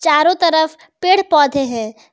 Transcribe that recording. चारों तरफ पेड़ पौधे हैं।